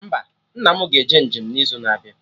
Mba, nna mụ ga-eje njem n'izu na-abịa